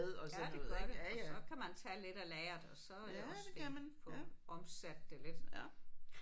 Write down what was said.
Ja det gør det og så kan man tage lidt af lageret og så er det også det få omsat det lidt